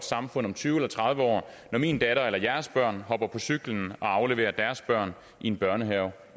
samfund om tyve år eller tredive år når min datter eller jeres børn hopper på cyklen og afleverer deres børn i en børnehave